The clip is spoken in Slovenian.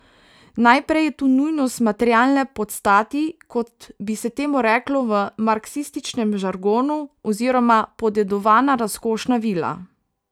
Najprej je tu nujnost materialne podstati, kot bi se temu reklo v marksističnem žargonu, oziroma podedovana razkošna vila.